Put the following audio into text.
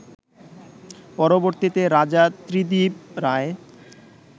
পরবর্তীতে রাজা ত্রিদিব রায়